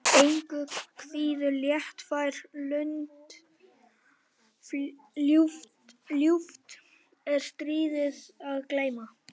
Engu kvíðir léttfær lund, ljúft er stríði að gleyma.